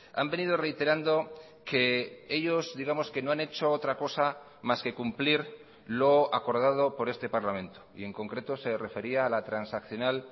han venido reiterando que ellos digamos que no han hecho otra cosa más que cumplir lo acordado por este parlamento y en concreto se refería a la transaccional